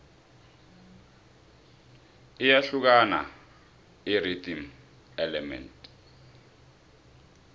iyahlukani irhythm element